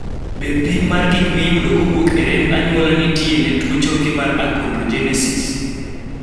be pim mar gik miyudo kowuok e remb anyuola nitie ne tuo choke mar achondrogenesis